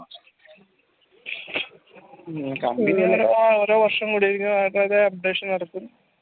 പിന്നെ company ഒക്കെ ഓരോ വർഷം കൂടികയ്‌ന ഓരോ updation ഇറക്കും